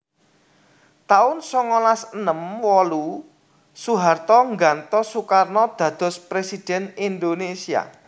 taun songolas enem wolu Soeharto nggantos Soekarno dados Presidhèn Indonesia